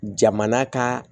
Jamana ka